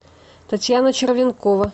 татьяна червенкова